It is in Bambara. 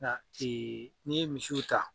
Nka n'i ye misiw ta